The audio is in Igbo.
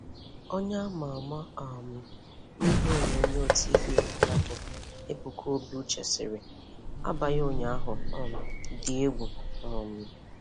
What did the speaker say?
Onye a ma ama um n'ihe onyonyo 'TV' aha ya bụ Ebuka Obi-Uche sịrị: 'Abalị ụnyaahụ um dị egwu. um